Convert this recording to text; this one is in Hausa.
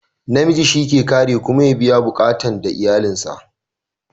Na miji shi ke kare kuma ya biya buƙatan da iyalin sa